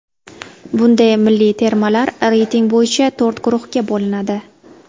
Bunda milliy termalar reyting bo‘yicha to‘rt guruhga bo‘linadi.